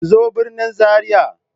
Ku zo birnin Zaria!